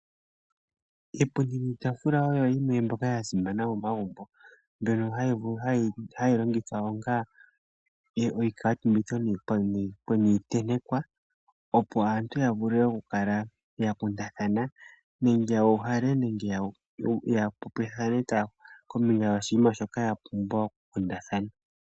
Iipundi niitaafula oyo yimwe mbyoka yasimana momagumbo, mbyono hayi longithwa onga oshikaatumbitho niitentekwa opo aantu yavule okukala yakundathana, nande yuuhale nande yapopithanethane kombinga yoshinima shoka yapumbwa okukundathana.